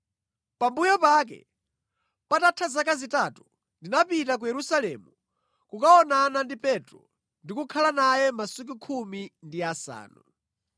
Pambuyo pake, patatha zaka zitatu, ndinapita ku Yerusalemu kukaonana ndi Petro ndikukhala naye masiku khumi ndi asanu.